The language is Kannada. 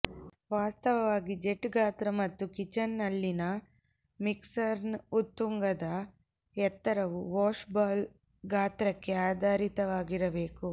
ವಾಸ್ತವವಾಗಿ ಜೆಟ್ ಗಾತ್ರ ಮತ್ತು ಕಿಚನ್ ನಲ್ಲಿನ ಮಿಕ್ಸರ್ನ ಉತ್ತುಂಗದ ಎತ್ತರವು ವಾಶ್ ಬೌಲ್ನ ಗಾತ್ರಕ್ಕೆ ಆಧಾರಿತವಾಗಿರಬೇಕು